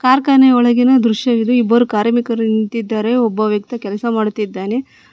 ಕಾರ್ಖಾನೆ ಒಳಗಿನ ದೃಶ್ಯವಿದು ಬರು ಕಾರ್ಮಿಕರು ನಿಂತಿದ್ದಾರೆ ಒಬ್ಬ ವ್ಯಕ್ತಿ ಕೆಲಸ ಮಾಡುತ್ತಿದ್ದಾನೆ.